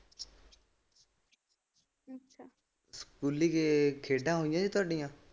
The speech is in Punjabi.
ਸਕੂਲੇ ਖੇਡਾ ਹੁੰਦੀਆਂ ਤੁਹਾਡੀਆਂ?